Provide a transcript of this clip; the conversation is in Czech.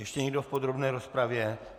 Ještě někdo v podrobné rozpravě?